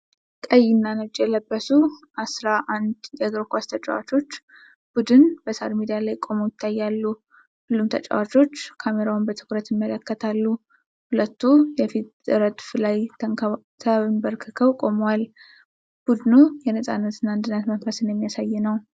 ቀይ እና ነጭ የለበሱ አስራ አንድ የእግር ኳስ ተጫዋቾች ቡድን በሣር ሜዳ ላይ ቆመው ይታያሉ። ሁሉም ተጫዋቾች ካሜራውን በትኩረት ይመለከታሉ፤ ሁለቱ የፊት ረድፍ ላይ ተንበርክከው ቆመዋል። ቡድኑ የነፃነት እና አንድነት መንፈስን የሚያሳይ ነው።